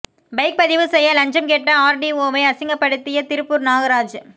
bike பதிவு செய்ய லஞ்சம் கேட்ட ஆர்டிஓவை அசிங்கப்படுத்திய திருப்பூர் நாகராஜ்